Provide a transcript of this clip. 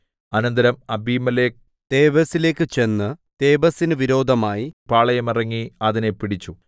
അനന്തരം അബീമേലെക്ക് തേബെസിലേക്ക് ചെന്ന് തേബെസിന് വിരോധമായി പാളയമിറങ്ങി അതിനെ പിടിച്ചു